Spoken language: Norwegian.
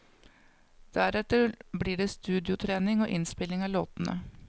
Deretter blir det studiotrening og innspilling av låtene.